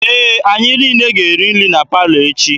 Ee, anyị niile ga-eri nri na palọ echi.